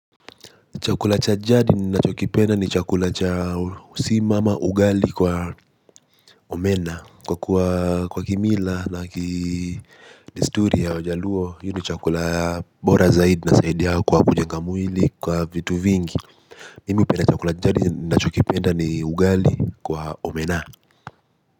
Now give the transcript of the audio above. Chakula cha jadi ninachokipenda ni chakula cha sima ama ugali kwa omena. Kwa kwa kimila na ki desturi ya wajaluo hiyo ni chakula bora zaidi inasaidi kwa kujenga mwili kwa vitu vingi. Mimi hupenda chakula jadi na chokipenda ni ugali kwa omena.